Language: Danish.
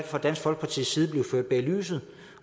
fra dansk folkepartis side blevet ført bag lyset